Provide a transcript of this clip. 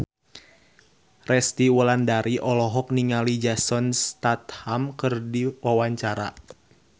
Resty Wulandari olohok ningali Jason Statham keur diwawancara